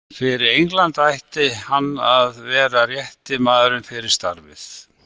Fyrir England ætti hann að vera rétti maðurinn fyrir starfið.